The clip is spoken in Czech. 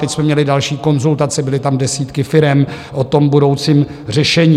Teď jsme měli další konzultace - byly tam desítky firem - o tom budoucím řešení.